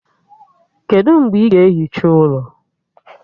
Kedụ mgbe ị ga-ehicha ụlọ?